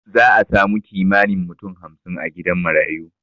Za'a samu kimanin mutum hamsin a gidan marayu